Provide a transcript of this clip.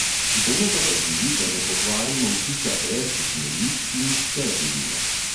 Bomo pa pazili, da ne pokvarimo vtisa er, ki smo jih in jih še živimo.